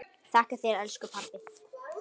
Þakka þér elsku pabbi.